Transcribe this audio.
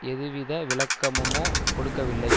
எதுவித விளக்கமுமோ கொடுக்கவில்லை